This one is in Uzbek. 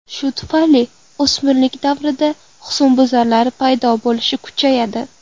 Shu tufayli o‘smirlik davrida husnbuzarlar paydo bo‘lishi kuchayadi.